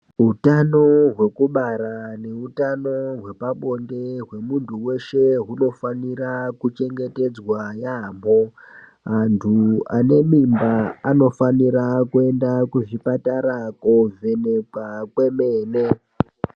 Hutano hwekubara nehutano hwepabonde wemuntu weshe gunofanira kuchengetedzwa yambo. Muntu anemimba anofanira kuenda kuzvipatara kovhenekwa kwemene.